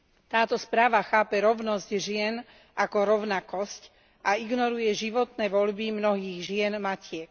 Táto správa chápe rovnosť žien ako rovnakosť a ignoruje životné voľby mnohých žien matiek.